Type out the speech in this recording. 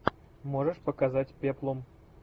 можешь показать пеплум